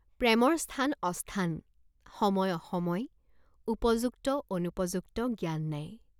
প্ৰেমৰ স্থান অস্থান, সময় অসময়, উপযুক্ত অনুপযুক্ত জ্ঞান নাই।